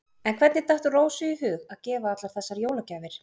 En hvernig datt Rósu í hug að gefa allar þessar jólagjafir?